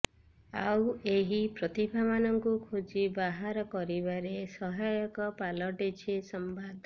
ଆଉ ଏହି ପ୍ରତିଭାମାନଙ୍କୁ ଖୋଜି ବାହାର କରିବାରେ ସହାୟକ ପାଲଟିଛି ସମ୍ବାଦ